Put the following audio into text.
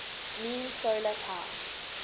mean solar time